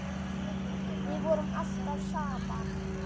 Við vorum alltaf saman.